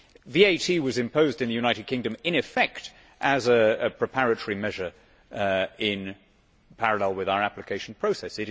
VAT was imposed in the United Kingdom in effect as a preparatory measure in parallel with our application process.